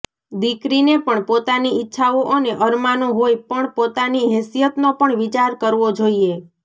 દિકરીને પણ પોતાની ઈચ્છાઓ અને અરમાનો હોય પણ પોતાની હેસીયતનો પણ વિચાર કરવો જોઈએ